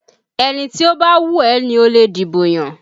Ẹni tó bá wù ẹ́ ni ó lè dìbò yàn